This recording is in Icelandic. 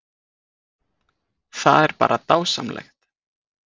Það er bara dásamlegt